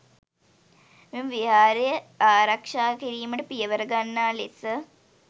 මෙම විහාරය ආරක්‍ෂා කිරීමට පියවර ගන්නා ලෙස